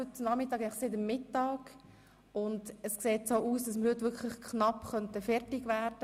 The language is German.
Und es sieht so aus, als könnten wir heute knapp fertig werden.